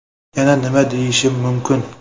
Yana nima deyishim mumkin?